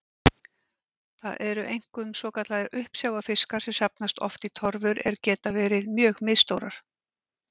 Það eru einkum svokallaðir uppsjávarfiskar sem safnast oft í torfur er geta verið mjög misstórar.